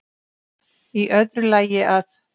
Í öðru lagi að